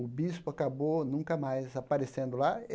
o bispo acabou nunca mais aparecendo lá.